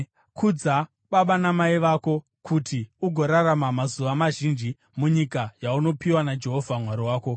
Kudza baba vako namai vako, kuti ugorarama mazuva mazhinji munyika yaunopiwa naJehovha Mwari wako.